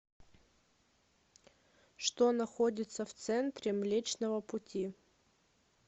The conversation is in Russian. что находится в центре млечного пути